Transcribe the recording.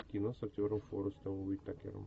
кино с актером форестом уитакером